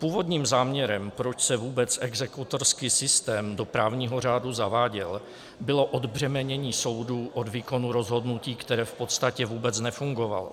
Původním záměrem, proč se vůbec exekutorský systém do právního řádu zaváděl, bylo odbřemenění soudů od výkonu rozhodnutí, které v podstatě vůbec nefungovalo.